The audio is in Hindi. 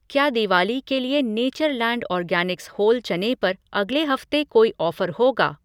क्या दिवाली के लिए नेचर लैंड ऑर्गैनिक्स होल चने पर अगले हफ़्ते कोई ऑफ़र होगा।